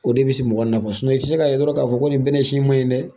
O de bɛ se mɔgɔ nafa i tɛ se ka ye dɔrɔn k'a fɔ ko nin bɛnɛ si in maɲin dɛ.